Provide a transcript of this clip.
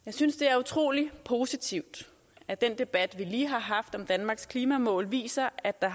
jeg synes det er utrolig positivt at den debat vi lige har haft om danmarks klimamål viser at der